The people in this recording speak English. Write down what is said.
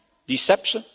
Deception?